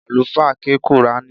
Àlùfáà ké qùrání